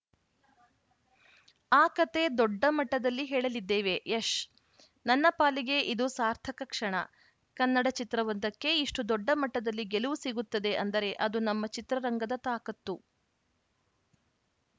ಆ ಕತೆ ದೊಡ್ಡ ಮಟ್ಟದಲ್ಲಿ ಹೇಳಲಿದ್ದೇವೆ ಯಶ್‌ ನನ್ನ ಪಾಲಿಗೆ ಇದು ಸಾರ್ಥಕ ಕ್ಷಣ ಕನ್ನಡ ಚಿತ್ರವೊಂದಕ್ಕೆ ಇಷ್ಟುದೊಡ್ಡ ಮಟ್ಟದಲ್ಲಿ ಗೆಲುವು ಸಿಗುತ್ತದೆ ಅಂದರೆ ಅದು ನಮ್ಮ ಚಿತ್ರರಂಗದ ತಾಕತ್ತು